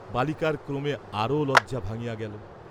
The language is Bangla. বালিকার ক্রমে আরো লজ্জা ভাঙ্গিয়া গেল।